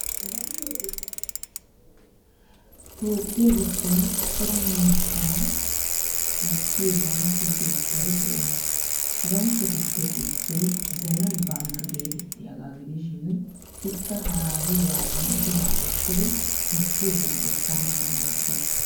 Toophphiya giddon cora miishshaa wottiyo bankke keettay de'ees. Ha bankketuppe issoy zemen bank geettettiyaagaa gidishin ikka haraatuugaadan biraa wottidi koshshiyo wode ekkanawu maaddes.